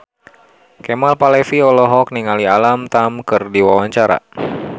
Kemal Palevi olohok ningali Alam Tam keur diwawancara